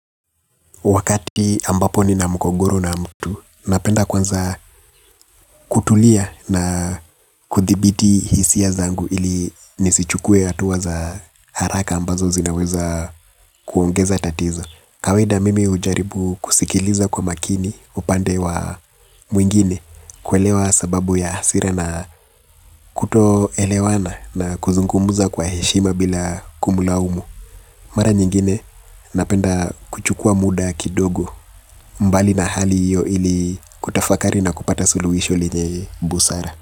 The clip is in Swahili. Wakati ambapo nina mgogoro na mtu, napenda kwanza kutulia na kudhibiti hisia zangu ili nisichukue hatuwa za haraka ambazo zinaweza kuongeza tatizo. Kawaida mimi ujaribu kusikiliza kwa makini upande wa mwingine kuelewa sababu ya hasira na kutoelewana na kuzungumuza kwa heshima bila kumlaumu. Mara nyingine napenda kuchukua muda kidogo mbali na hali hiyo ili kutafakari na kupata suluhisho lenye busara.